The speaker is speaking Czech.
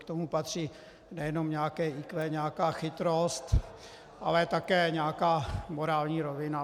K tomu patří nejenom nějaké IQ, nějaká chytrost, ale také nějaká morální rovina.